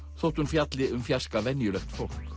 þótt hún fjalli um fjarska venjulegt fólk